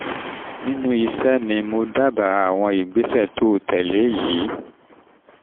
nínú iṣẹ́ mi nínú iṣẹ́ mi mo dábàá àwọn ìgbésẹ̀ tó tẹ̀lé e yìí